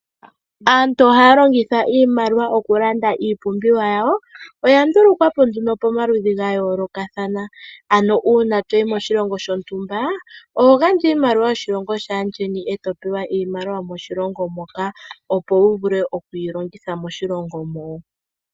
Aantu ohaya longitha iimaliwa oku landa iipumbiwa yawo. Oya ndulukwa po nduno pamaludhi ga yoolokathana. Ano uuna toyi moshilongo shontumba oho gandja iimaliwa yoshilongo shaandjeni, e to pewa iimaliwa yomoshilongo moka, opo wu vule oku yi longitha moshilongo mo.